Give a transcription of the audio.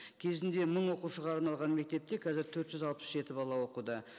кезінде мың оқушыға арналған мектепте қазір төрт жүз алпыс жеті бала оқуда